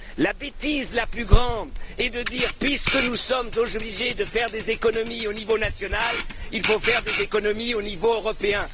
La bêtise la plus grande est de dire Puisque nous sommes obligés de faire des économies au niveau national, il faut faire des économies au niveau européen.